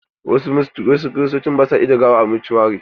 Wasu Kiristoci ba su ajiye gawa a motuari.